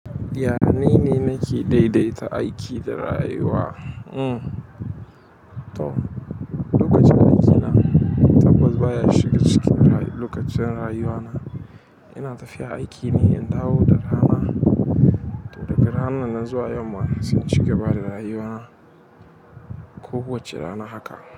Yanene nake daidaita aiki da rayuwa. Lokacin aikina tabbas baya shiga cikin lokacin rayuwana. Ina tafiya aiki ne in dawo da rana, to daga ranan zan zuwa yamma sai in cigaba da rayuwana. Ko kowacce rana haka.